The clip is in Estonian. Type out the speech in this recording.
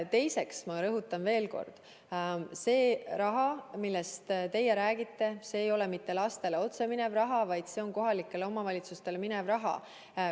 Teiseks, ma rõhutan veel kord, et see raha, millest teie räägite, ei ole mitte otse lastele minev raha, vaid see on kohalikele omavalitsustele minev raha.